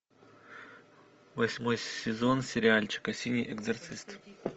восьмой сезон сериальчика синий экзорцист